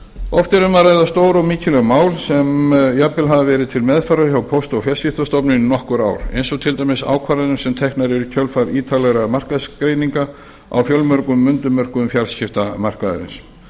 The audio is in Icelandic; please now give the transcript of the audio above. oft er um að ræða stór og mikilvæg mál sem jafnvel hafa verið til meðferðar hjá póst og fjarskiptastofnun í nokkur ár eins og til dæmis ákvarðanir sem teknar eru í kjölfar ítarlegra markaðsgreininga á fjölmörgum undirmörkuðum fjarskiptamarkaðarins